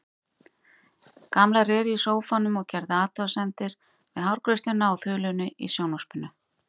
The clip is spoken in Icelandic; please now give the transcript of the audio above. Gamla réri í sófanum og gerði athugasemdir við hárgreiðsluna á þulunni í sjónvarpinu.